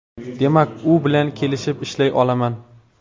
Demak, u bilan kelishib ishlay olaman.